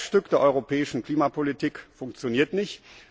Das Herzstück der europäischen Klimapolitik funktioniert nicht.